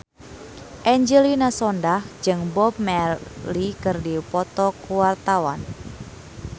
Angelina Sondakh jeung Bob Marley keur dipoto ku wartawan